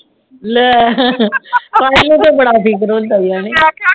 ਲੈ ਸਾਹਿਲ ਨੂੰ ਬੜਾ ਫਿਕਰ ਹੁੰਦਾ ਆ ਨੀ